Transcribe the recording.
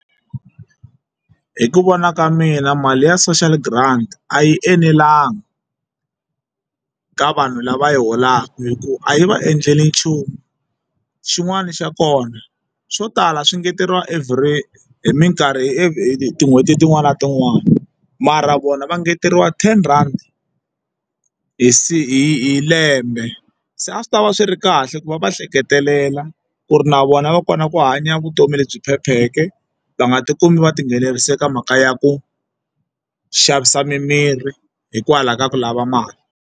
Hi ku vona ka mina mali ya social grant a yi enelanga ka vanhu lava yi holaka hi ku a yi va endleli nchumu xin'wana xa kona swo tala swi engeteriwa every minkarhi hi tin'hweti tin'wani na tin'wani mara vona va ngeteriwa ten rhandi hi hi lembe se a swi tava swi ri kahle ku va va va hleketelela ku ri na vona va kota ku hanya vutomi lebyi phepheke va nga ti kumi va tinghenelerise ka mhaka ya ku xavisa mimirhi hikwalaho ka ku lava mali.